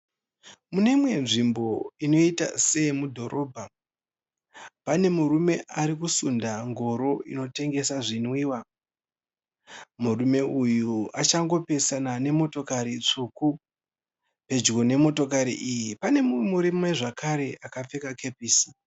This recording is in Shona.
Muneimwe nzvimbo inoita seye mudhorobha. Pane murume arikusunda ngoro inotengesa zvinwiwa. Murume uyu achangopesana nemotokari tsvuku . Pedyo nemotokari iyi pane mumwe murume zvekare akapfeka kepisi.